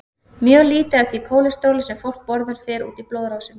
Mjög lítið af því kólesteróli sem fólk borðar fer út í blóðrásina.